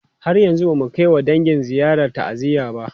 Har yanzu ba mu kai wa dangi ziyarar ta'aziyya ba.